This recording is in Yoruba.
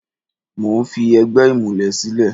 Mo ń fi ẹgbẹ́ ìmùlẹ̀ sílẹ̀.